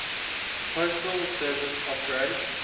postal service operates